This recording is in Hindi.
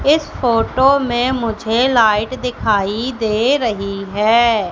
इस फोटो में मुझे लाइट दिखाई दे रही है।